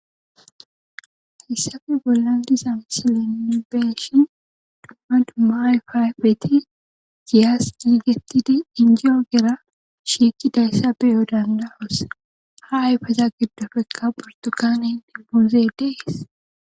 hissafe bolla diza msilen nuni be7shin duma duma ayfa ayfeti giyas yiigetidi injiyo gera shiiki dayssa beyo danda7us ha ayfeza giddofekka portugaanen dibbuze dees